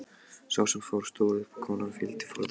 Sá sem fór stóð upp og konan fylgdi fordæmi hans.